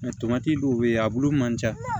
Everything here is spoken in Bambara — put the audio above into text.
dɔw bɛ yen a bulu man ca